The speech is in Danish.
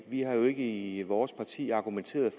vi har jo ikke i vores parti argumenteret